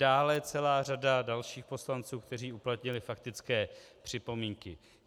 Dále celá řada dalších poslanců, kteří uplatnili faktické připomínky.